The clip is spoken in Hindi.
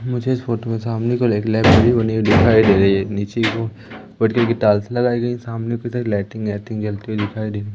मुझे इस फोटो के सामने एक लाइब्रेरी बनी हुई दिखाई दे रही है नीचे के टेल्स लगायी गयी सामने लाइटिंग वाईटिंग जलते हुए दिखाई दे र --